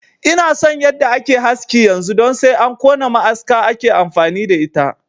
Ina son yadda ake haski yanzu don sai an kona ma'aska ake amfani da ita